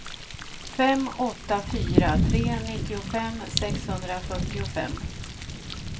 fem åtta fyra tre nittiofem sexhundrafyrtiofem